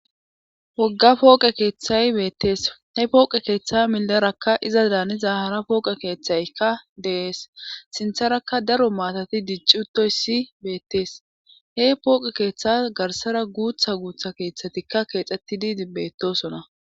wogga pooqe keeththay beettees he pooqe keeththay milerakka iza daaniza hara pooqe keeththaykka de's sintharakka daro maatati diccutoy si beettees he pooqe keeththa garsara guutha guutha keeththatikka keexxettidi betosona